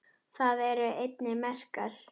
Þar eru einnig merkar